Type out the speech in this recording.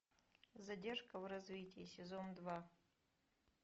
задержка в развитии сезон два